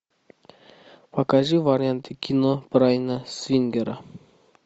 покажи варианты кино брайана сингера